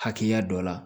Hakɛya dɔ la